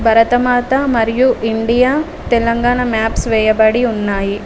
భరతమాత మరియు India Telangana maps వేయబడి ఉన్నాయి.